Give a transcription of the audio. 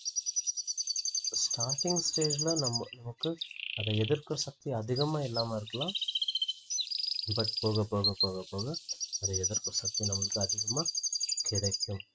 starting stage ல நம்ம நமக்கு அதை எதிர்க்கும் சக்தி அதிகமா இல்லாம இருக்கலாம் but போக போக போக போக அத எதிர்ப்புசக்தி நமக்கு அதிகமா கிடைக்கும்